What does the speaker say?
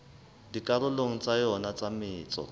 dikarolong tsa yona tsa metso